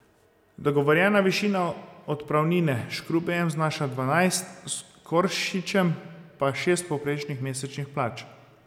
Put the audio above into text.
Dogovorjena višina odpravnine s Škrubejem znaša dvanajst, s Koršičem pa šest povprečnih mesečnih plač.